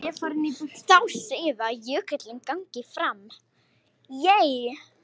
Þá segjum við að jökullinn gangi fram.